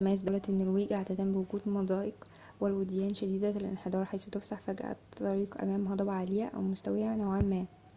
تتميز دولة النرويج عادةً بوجود المضايق والوديان شديدة الانحدار حيث تفسح فجأة الطريق أمام هضبة عالية أو مستوية نوعاً ما